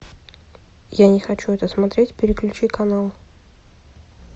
я не хочу это смотреть переключи канал